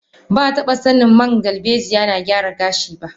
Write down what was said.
Bataba sanin man dalbejiya na gyara gashi ba.